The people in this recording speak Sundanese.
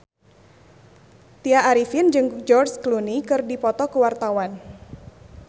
Tya Arifin jeung George Clooney keur dipoto ku wartawan